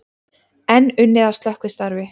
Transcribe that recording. Enn unnið að slökkvistarfi